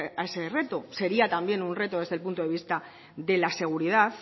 a ese reto sería también un reto desde el punto de vista de la seguridad